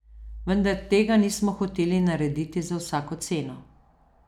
Vendar tega nismo hoteli narediti za vsako ceno.